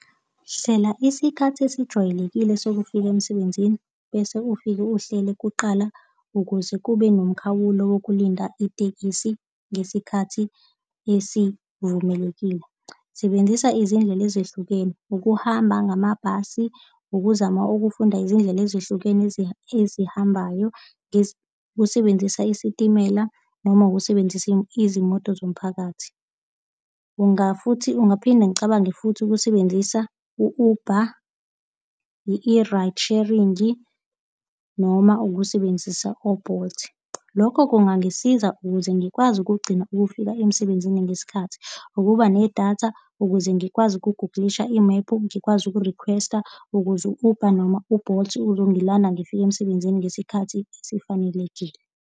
Hlela isikhathi esijwayelekile sokufika emsebenzini, bese ufike uhlele kuqala ukuze kube nomkhawulo yokulinda itekisi ngesikhathi esivumelekile. Sebenzisa izindlela ezehlukene, ukuhamba ngamabhasi, ukuzama ukufunda izindlela ezihlukene ezihambayo, usebenzisa isitimela noma ukusebenzisa izimoto zomphakathi. futhi ungaphinde ngicabange futhi ukusebenzisa u-Uber ye-ride sharing-i noma ukusebenzisa o-Bolt. Lokho kungangisiza ukuze ngikwazi ukugcina ukufika emsebenzini ngesikhathi, ukuba nedatha, ukuze ngikwazi ukugugulisha imephu, ngikwazi ukurikhwesta ukuze u-Uber noma u-Bolt uzongilanda ngifike emsebenzini ngesikhathi esifanelekile.